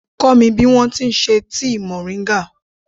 Kọ́ mi bí wọn ti ṣe tíì mòríńgà.